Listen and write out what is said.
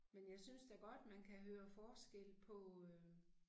Men jeg synes da godt man kan høre forskel på øh